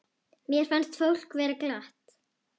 Mér fannst fólk vera glatt.